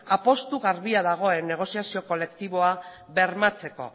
apustu garbia dagoen negoziazio kolektiboa bermatzeko